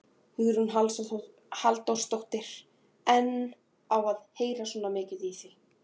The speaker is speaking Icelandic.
Hugrún Halldórsdóttir: En á að heyrast svona mikið í því?